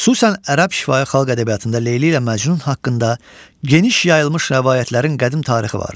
xüsusən ərəb şifahi xalq ədəbiyyatında Leyli ilə Məcnun haqqında geniş yayılmış rəvayətlərin qədim tarixi vardır.